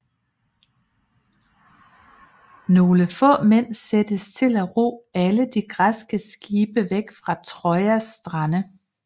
Nogle få mænd sættes til at ro alle de græske skibe væk fra Trojas strande